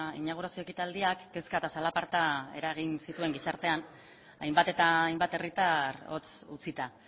inaugurazio ekitaldiak kezka eta zalaparta eragin zituen gizartean hainbat eta hainbat herritar hotz utzita